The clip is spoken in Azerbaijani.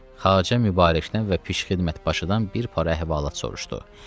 Xacə Mübarəkdən və pişk xidmət başıdan bir para əhvalat soruşdu.